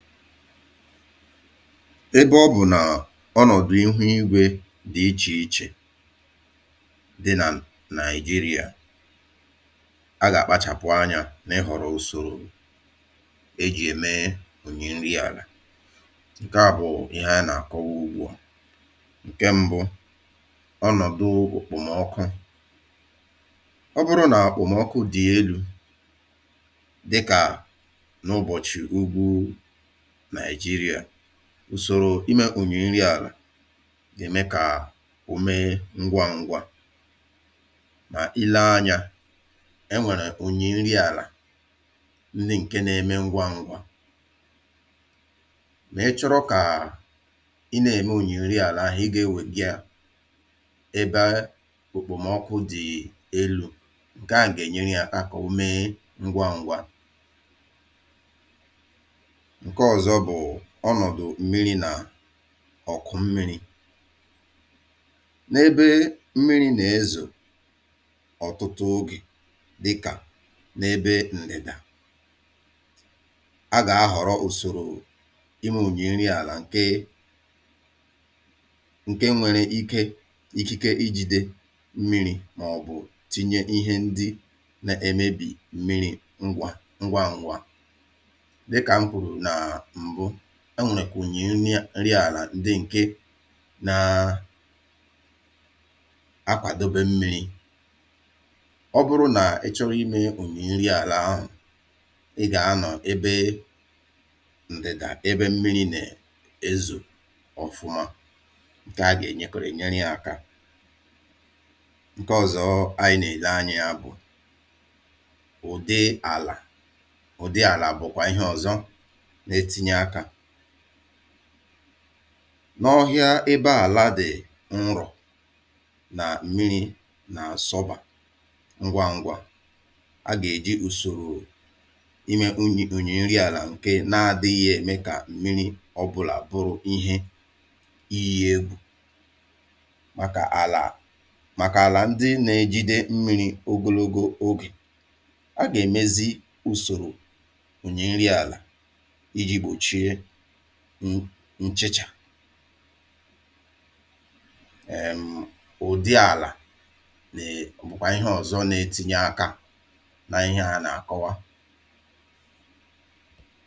Ebe ọ bụ̀ nà ọnọ̀dụ̀ ihu igwė dị ichè ichè dị nà nigeria, a gà-àkpachàpụ anyȧ nà ị ghọ̀rọ̀ usoro ejì ème um onye nri àlà ǹke à bụ̀ ihe a nà-àkọwa ugbua. Nke mbụ, ọnọ̀dụ̀ okpomọkụ ọ bụrụ nà àkpụ̀mọkụ dị̀ elu̇, dịkà n’ụbọ̀chị̀ ùgwù Nigeria usoro imė ònyì nri àlà gà-ème kà ò mee ngwa ngwa mà ilee anyȧ, e nwèrè ònyì nri àlà ndi ǹke na-eme ngwa ngwa lè ịchọrọ kà i nà-ème ònyì nri àlà ahụ̀ ị gà-ewè gi yȧ ebe a òkpòmọkụ dị̀ um elu̇ ǹke à ǹgà-ènyere yȧ aka kà ọ mee ngwa ngwa. Nke ọzọ bu ọnọdụ mmírí na ọ̀kụ mmiri̇. N'ebe mmiri nà-ezo ọ̀tụtụ ogè dịkà n’ebe ǹdidà a gà-ahọ̀rọ̀ ùsòrò ịme ònyi nri àlà ǹke um ǹke nwere ike ikike ịjìde mmiri̇ mà ọ̀bụ̀ tinye ihe ndi nà-emebì mmiri̇ ngwa ngwa ngwa. Dịkà m kwuru na mbụ, e nwere onyi nri ala ndị ǹke na um akwàdobe mmi̇ri̇ ọ bụrụ nà ị chọrọ ịmė ònyì nri àlà ahụ̀, ị gà anọ̀ ebe ǹdị̀dà ebe mmiri̇ na-ezò ọ̀fụma ǹke a gà-ènyèkòrènyere akȧ. Nke ọ̀zọ anyị nà-èle anya bụ̀ ụ̀di àlà. Ụdị àlà bụ̀kwà ihe ọ̀zọ n'etinye aka. N’ọhịa ebe àla di̇ nrọ̀ nà mmiri̇ nà-àsọbà ngwa ngwa a gà-èji ùsòrò imė unyi ònyì nri àlà ǹke na-adị̇ghị̇ ème kà mmiri̇ ọbụlà bụrụ ihe iyi egwu̇. Màkà àlà màkà àlà ndị na-ejide mmiri̇ ogologo ogè, a gà-èmezi ùsòrò onyi nri ala iji gbochie nchìchà um ụ̀dị àlà na um bukwà ihe ọ̀zọ nà-etinye akȧ n’ihe à nà-àkọwa.